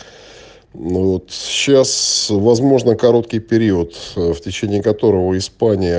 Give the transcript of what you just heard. ну вот сейчас возможно короткий период в течение которого испания